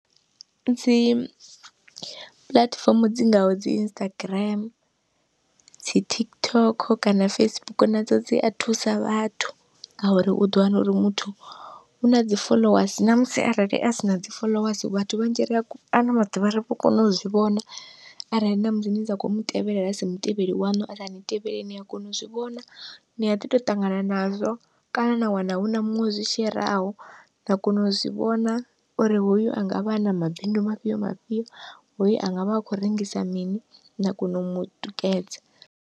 Dzi puḽatifomo dzi ngaho dzi Instagram, dzi TikTok kana Facebook nadzo dzi a thusa vhathu, ngauri u ḓo wana uri muthu u na dzi foḽowasi namusi arali a sina dzi foḽowasi vhathu vhanzhi ri a ano maḓuvha ri vho kona u zwi vhona, arali namusi ni sa kho mutevhela a si mutevheli waṋu asa ni tevheli nia kona u zwivhona, ni a ḓi to ṱangana nazwo kana na wana huna muṅwe o zwi sheraho na kona u zwivhona uri hoyu angavha ana mabindu mafhio mafhio hoyu angavha a khou rengisa mini na kona u mutikedza.